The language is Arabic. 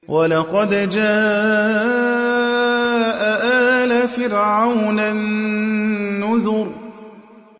وَلَقَدْ جَاءَ آلَ فِرْعَوْنَ النُّذُرُ